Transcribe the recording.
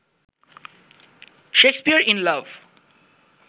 Shakespeare in love